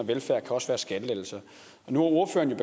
velfærd kan også være skattelettelser nu har ordføreren